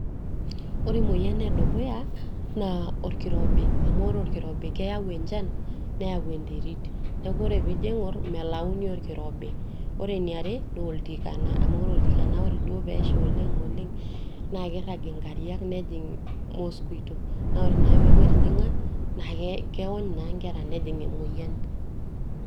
Ore emoyian edukuya naa orkirobi amu ore orkirobi keyau enchan neyau enterit, neeku ore piijo aing'orr melauni orkirobi. Ore eniare naa oltikana amu ore oltikana duo peesha oleng' oleng' naa kiirrag inkariak nejing' mosquito naa ore naake pee eeku etijing'a naa keony naa nkera nejing' emoyian.